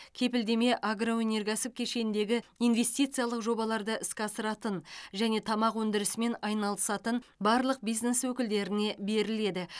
кепілдеме агроөнеркәсіп кешеніндегі инвестициялық жобаларды іске асыратын және тамақ өндірісімен айналысатын барлық бизнес өкілдеріне беріледі